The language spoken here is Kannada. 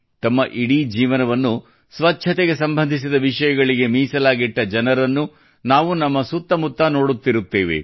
ತಮ್ಮ ಇಡೀ ಜೀವನವನ್ನು ಸ್ವಚ್ಛತೆಗೆ ಸಂಬಂಧಿಸಿದ ವಿಷಯಗಳಿಗೆ ಮೀಸಲಾಗಿಟ್ಟ ಜನರನ್ನು ನಾವು ನಮ್ಮ ಸುತ್ತ ಮುತ್ತ ನೋಡುತ್ತಿರುತ್ತೇವೆ